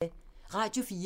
Radio 4